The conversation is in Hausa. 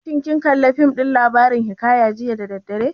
Shin kin kalli fim ɗin labarin hiƙaya jiya da daddare?